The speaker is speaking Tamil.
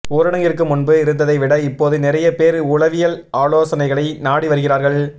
ஊரடங்கிற்கு முன்பு இருந்ததை விட இப்போது நிறைய பேர் உளவியல் ஆலோசனைகளை நாடி வருகிறார்கள்